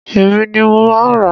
Èmi ni mo máa ràá.